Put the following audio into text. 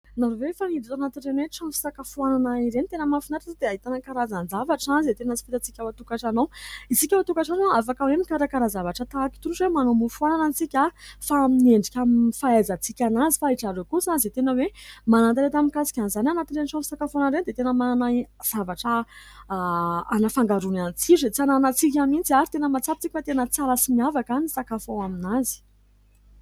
Nareo ve efa niditra tanatin'ireny trano fisakafoanana ireny ? Tena mahafinaritra satria dia hahitana karazan-javatra izay tena tsy fahitantsika ao an-tokantrano ao. Isika ao an-tokatrano afaka hoe mikarakara zavatra tahaka itony ohatra hoe manao mofo anana tsika fa amin'ny endrika amin'ny fahaizantsika anazy fa ry zareo kosa izay tena hoe manan-talenta mikasika an'izany anatin' ireny trano fisakafoanana ireny dia tena manana zavatra anafangarony ny tsiro izay tsy ananantsika mihitsy ary tena matsapa tsika fa tena tsara sy miavaka ny sakafo ao aminazy.